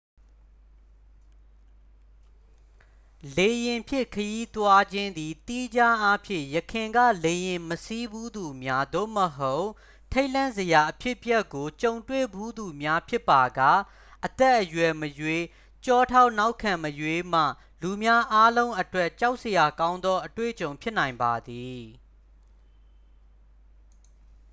လေယာဉ်ဖြင့်ခရီးသွားခြင်းသည် သီးခြားအားဖြင့် ယခင်က လေယာဉ်မစီးဖူးသူများ သို့မဟုတ် ထိတ်လန့်စရာအဖြစ်အပျက်ကိုကြုံတွေ့ဖူးသူများဖြစ်ပါက အသက်အရွယ်မရွေး ကျောထောက်နောက်ခံမရွေးမှ လူများအားလုံးအတွက် ကြောက်စရာကောင်းသောအတွေ့အကြုံဖြစ်နိုင်ပါသည်